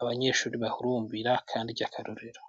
abanyeshuri bahurumbira kandi ryakarorero.